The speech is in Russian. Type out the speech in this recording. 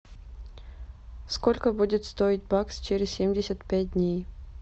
сколько будет стоить бакс через семьдесят пять дней